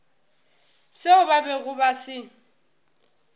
seo ba bego ba se